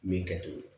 Min kɛ to ye